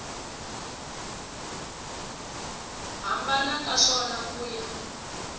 hambana ka swona ku ya